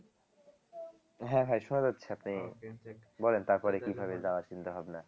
হ্যাঁ হ্যাঁ শোনা যাচ্ছে আপনি বলেন তারপরে কিভাবে যাওয়ার চিন্তাভাবনা